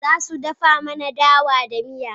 Za su dafa mana dawa da miya.